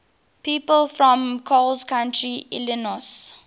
people from coles county illinois